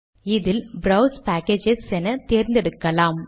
இதில் browse packages எனத்தேர்ந்தெடுக்கலாம்